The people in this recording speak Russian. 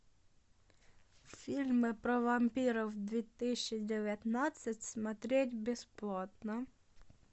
фильмы про вампиров две тысячи девятнадцать смотреть бесплатно